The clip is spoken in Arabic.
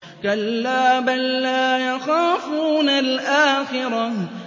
كَلَّا ۖ بَل لَّا يَخَافُونَ الْآخِرَةَ